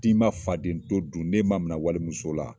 N'i ma faden to dun , ni e ma minɛ wale muso la, n'i ma faden to dun!